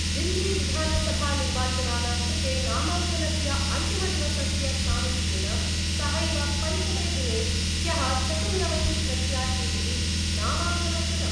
दिल्लीविधानसभानिर्वाचनानां कृते नामांकनस्य अंतिमदिवसस्य सामीप्येन सहैव पंचमे दिने ह्य: चतुर्नवतिप्रत्याशिभि: नामांकनं कृतम्।